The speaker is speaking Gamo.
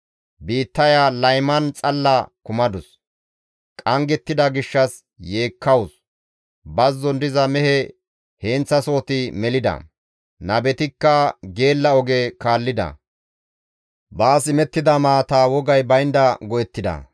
Biittaya layman xalla kumadus; qanggettida gishshas yeekkawus; bazzon diza mehe heenththasohoti melida; nabetikka geella oge kaallida; baas imettida maataa wogay baynda go7ettida.